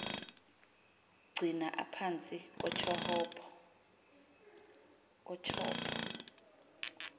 gcina aphantsi kotyhopho